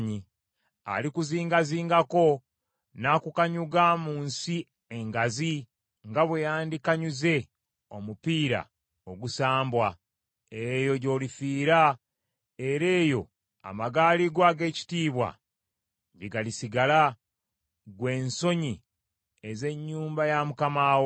Alikuzingazingako, n’akukanyuga mu nsi engazi, nga bwe yandikanyuze omupiira ogusambwa. Eyo gy’olifiira, era eyo amagaali go ag’ekitiibwa gye galisigala, ggwe ensonyi ez’ennyumba ya Mukama wo.